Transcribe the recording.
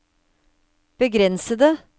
begrensede